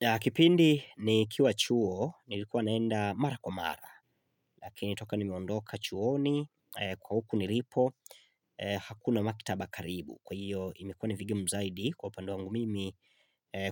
Na kipindi nikiwa chuo, nilikuwa naenda mara kwa mara, lakini toka nimeondoka chuoni kwa huku nilipo hakuna maktaba karibu. Kwa hiyo imekuwa ni vigumu zaidi kwa upande wangu mimi